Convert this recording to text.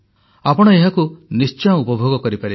ଆପଣ ଏହାକୁ ନିଶ୍ଚୟ ଉପଭୋଗ କରିବେ